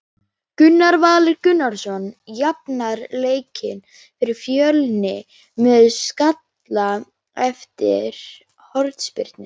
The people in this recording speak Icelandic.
Gunnar Valur Gunnarsson jafnar leikinn fyrir Fjölni með skalla eftir hornspyrnu.